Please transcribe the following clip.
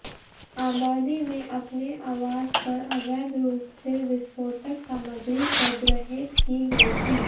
आबादी में अपने अवास पर अवैध रूप से विस्फोटक सामग्री संग्रहीत की गयी थी